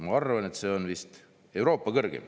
Ma arvan, et see on vist Euroopa kõrgeim.